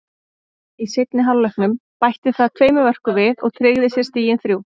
Í seinni hálfleiknum bætti það tveimur mörkum við og tryggði sér stigin þrjú.